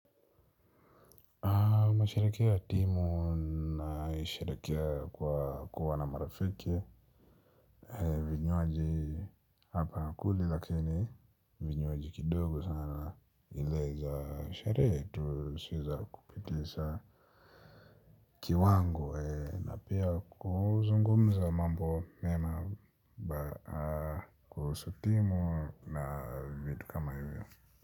Nasherekea timu nasherekea kwa kuwa na marafiki. Vinywaji hapa kuli lakini vinywaji kidogo sana ileza sherehe tu sio za kupitisa kiwango na pia kuzungumza mambo mema kuhusu timu na vitu kama hivyo.